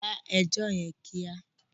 Da ẹjọ́ rẹ̀ kíá!